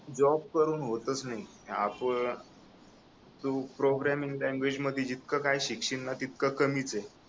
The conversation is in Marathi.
जॉब करून होतच नाही आपण तू प्रोग्रामिंग लैंग्वेज मध्ये जितकं काही शिकशील ना तितकं कमीच आहे